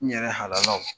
N yɛrɛ halalaw